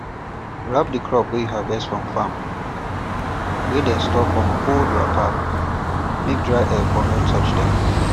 wrap di crop wey you harvest from farm wey dey store for old cotton wrapper make dry air for no touch um dem